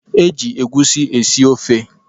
E ji egwusi esi ofe.